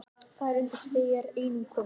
Það er undir þér einum komið